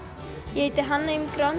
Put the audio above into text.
ég heiti Hanna